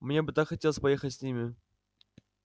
мне бы так хотелось поехать с ними